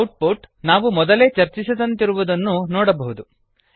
out ಪುಟ್ ನಾವು ಮೊದಲೇ ಚರ್ಚಿಸಿದಂತಿರುವುದನ್ನು ನೋಡಬಹುದು